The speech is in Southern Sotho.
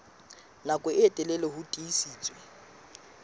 nako e telele ho tiisitse